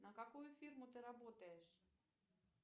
на какую фирму ты работаешь